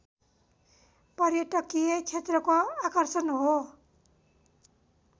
पर्यटकीय क्षेत्रको आकर्षण हो